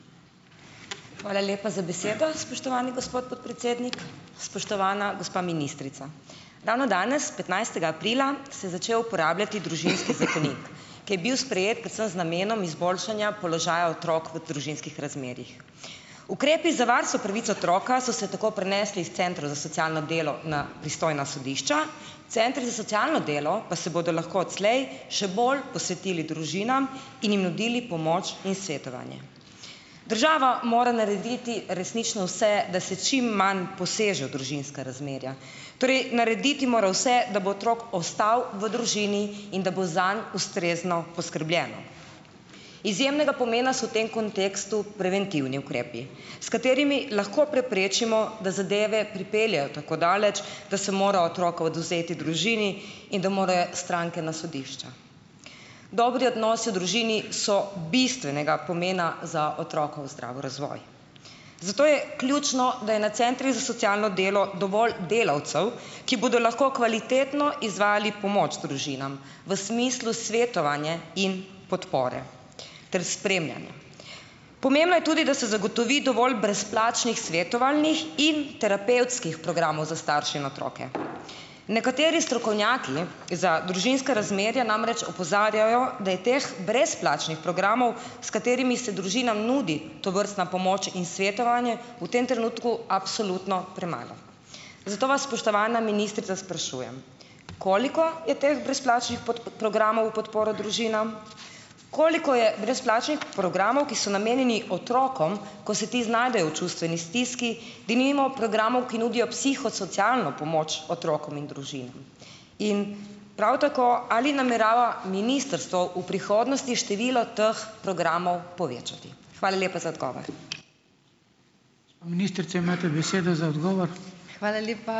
Hvala lepa za besedo, spoštovani gospod podpredsednik. Spoštovana gospa ministrica! Ravno danes, petnajstega aprila, se začel uporabljati Družinski zakonik, ki je bil sprejet predvsem z namenom izboljšanja položaja otrok v družinskih razmerjih. Ukrepi za varstvo pravic otroka so se tako prenesli iz centrov za socialno delo na pristojna sodišča, centri za socialno delo pa si bodo lahko odslej še bolj posvetili družinam in jim nudili pomoč in svetovanje. Država mora narediti resnično vse, da se čim manj poseže v družinska razmerja. Torej, narediti mora vse, da bo otrok ostal v družini in da bo zanj ustrezno poskrbljeno. Izjemnega pomena so v tem kontekstu preventivni ukrepi, s katerimi lahko preprečimo, da zadeve pripeljejo tako daleč, da se mora otroka odvzeti družini in da mora stranka na sodišča. Dobri odnosi v družini so bistvenega pomena za otrokov zdrav razvoj. Zato je ključno, da je na centrih za socialno delo dovolj delavcev, ki bodo lahko kvalitetno izvajali pomoč družinam v smislu svetovanje in podpore ter spremljanja. Pomembno je tudi, da se zagotovi dovolj brezplačnih svetovalnih in terapevtskih programov za starše in otroke. Nekateri za družinska razmerja namreč opozarjajo, da je teh brezplačnih programov, s katerimi se družinam nudi tovrstna pomoč in svetovanje, v tem trenutku absolutno premalo. Zato vas, spoštovana ministrica, sprašujem, koliko je teh brezplačnih programov v podporo družinam? Koliko je brezplačnih programov, ki so namenjeni otrokom, ko se ti znajdejo v čustveni stiski, denimo programov, ki nudijo psihosocialno pomoč otrokom in družinam? In prav tako, ali namerava ministrstvo v prihodnosti število teh programov povečati? Hvala lepa za odgovor.